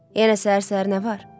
Yenə səhər-səhər nə var?